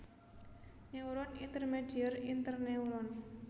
Neuron Intermedier Interneuron